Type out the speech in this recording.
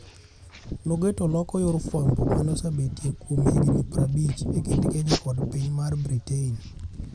Nogeto loko yor fwambo mane osebetie kuom higni prabich e kind Kenya kod piny mar Britain.